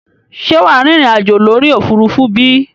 Ṣé wàá rìnrìn àjò lórí òfurufú bí?